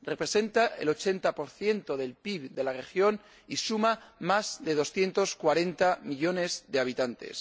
Representa el 80 del PIB de la región y suma más de 240 millones de habitantes.